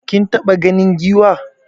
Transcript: Kin taɓa ganin Giwa?